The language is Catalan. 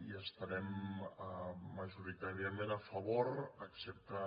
hi estarem majoritàriament a favor excepte